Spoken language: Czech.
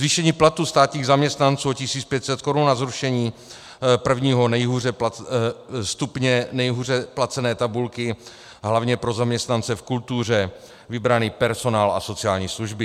Zvýšení platů státních zaměstnanců o 1 500 korun a zrušení prvního stupně nejhůře placené tabulky hlavně pro zaměstnance v kultuře, vybraný personál a sociální služby.